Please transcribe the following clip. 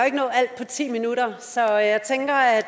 ikke nå alt på ti minutter så jeg tænker at